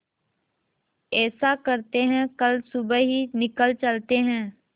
ऐसा करते है कल सुबह ही निकल चलते है